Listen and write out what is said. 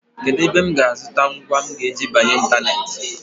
Kedụ ebe m ga-azụta ngwa m ga-eji banye ịntaneetị?